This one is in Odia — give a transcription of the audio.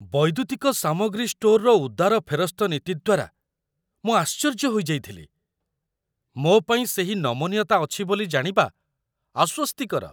ବୈଦ୍ୟୁତିକ ସାମଗ୍ରୀ ଷ୍ଟୋର୍‌ର ଉଦାର ଫେରସ୍ତ ନୀତି ଦ୍ୱାରା ମୁଁ ଆଶ୍ଚର୍ଯ୍ୟ ହୋଇଯାଇଥିଲି, ମୋ ପାଇଁ ସେହି ନମନୀୟତା ଅଛି ବୋଲି ଜାଣିବା ଆଶ୍ୱସ୍ତିକର